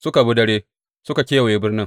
Suka bi dare, suka kewaye birnin.